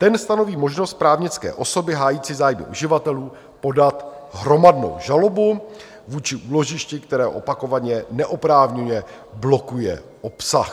Ten stanoví možnost právnické osoby hájící zájmy uživatelů podat hromadnou žalobu vůči úložišti, které opakovaně neoprávněně blokuje obsah.